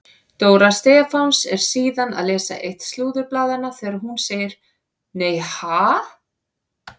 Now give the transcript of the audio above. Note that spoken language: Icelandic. Dóra Stefáns er síðan að lesa eitt slúðurblaðanna þegar hún segir: Nei ha?